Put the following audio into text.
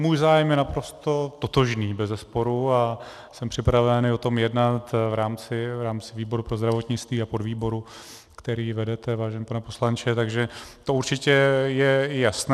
Můj zájem je naprosto totožný, bezesporu, a jsem připraven i o tom jednat v rámci výboru pro zdravotnictví a podvýboru, který vedete, vážený pane poslanče, takže to určitě je jasné.